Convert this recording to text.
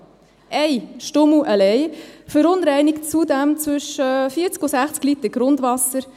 Ein Stummel allein verunreinigt zudem zwischen 40 und 60 Liter Grundwasser.